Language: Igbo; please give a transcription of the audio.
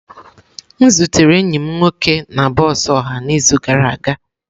M zutere enyi m nwoke na bọs ọha n'izu gara aga.